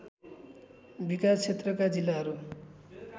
विकास क्षेत्रका जिल्लाहरू